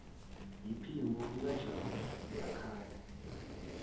yiphimbo likajabu uyakhala